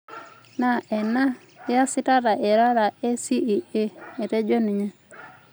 Naa ena iyasitata irara ACEA," Etejo ninye.